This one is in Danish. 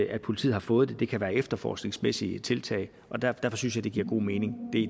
at politiet har fået det det kan være efterforskningsmæssige tiltag og derfor synes jeg det giver god mening